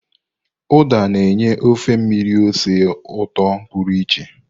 Uda na-enye ofe mmiri ose ụtọ pụrụ iche.